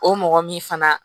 O mɔgɔ min fana